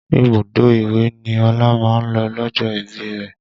Ibùdó ìwẹ̀ ni Ọlá máa ń lọ lọ́jọ́ ìbí rẹ